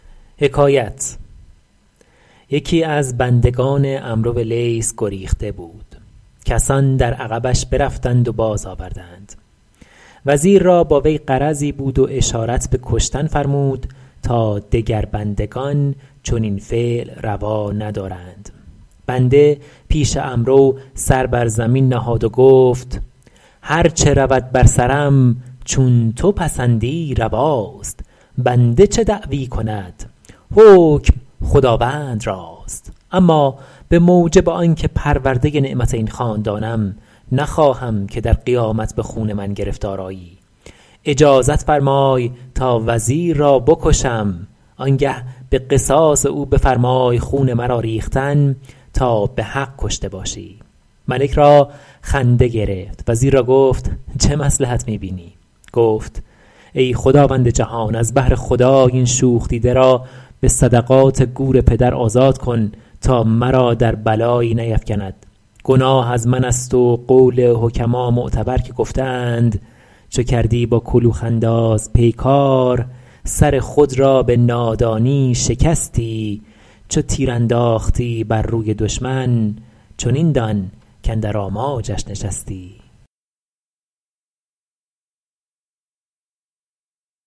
یکی از بندگان عمرو لیث گریخته بود کسان در عقبش برفتند و باز آوردند وزیر را با وی غرضی بود و اشارت به کشتن فرمود تا دگر بندگان چنین فعل روا ندارند بنده پیش عمرو سر بر زمین نهاد و گفت هر چه رود بر سرم چون تو پسندی رواست بنده چه دعوی کند حکم خداوند راست اما به موجب آن که پرورده نعمت این خاندانم نخواهم که در قیامت به خون من گرفتار آیی اجازت فرمای تا وزیر را بکشم آن گه به قصاص او بفرمای خون مرا ریختن تا به حق کشته باشی ملک را خنده گرفت وزیر را گفت چه مصلحت می بینی گفت ای خداوند جهان از بهر خدای این شوخ دیده را به صدقات گور پدر آزاد کن تا مرا در بلایی نیفکند گناه از من است و قول حکما معتبر که گفته اند چو کردی با کلوخ انداز پیکار سر خود را به نادانی شکستی چو تیر انداختی بر روی دشمن چنین دان کاندر آماجش نشستی